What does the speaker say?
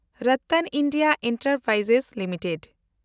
Ratan India enterprise limited